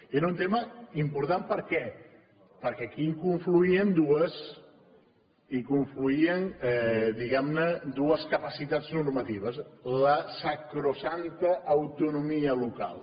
era un tema important per què perquè aquí hi confluïen diguem ne dues capacitats normatives la sacrosanta autonomia local